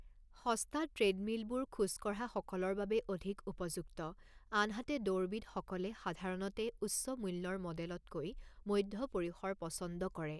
সস্তা ট্ৰেডমিলবোৰ খোজ কঢ়া সকলৰ বাবে অধিক উপযুক্ত আনহাতে দৌৰবিদসকলে সাধাৰণতে উচ্চ মূল্যৰ মডেলতকৈ মধ্য পৰিসৰ পছন্দ কৰে।